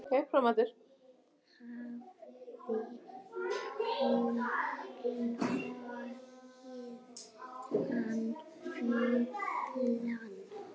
Hafði hún logið hann fullan?